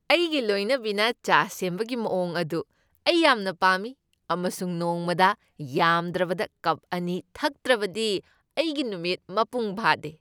ꯑꯩꯒꯤ ꯂꯣꯏꯅꯕꯤꯅ ꯆꯥ ꯁꯦꯝꯕꯒꯤ ꯃꯑꯣꯡ ꯑꯗꯨ ꯑꯩ ꯌꯥꯝꯅ ꯄꯥꯝꯃꯤ ꯑꯃꯁꯨꯡ ꯅꯣꯡꯃꯗ ꯌꯥꯝꯗ꯭ꯔꯕꯗ ꯀꯞ ꯑꯅꯤ ꯊꯛꯇ꯭ꯔꯕꯗꯤ ꯑꯩꯒꯤ ꯅꯨꯃꯤꯠ ꯃꯄꯨꯡ ꯐꯥꯗꯦ꯫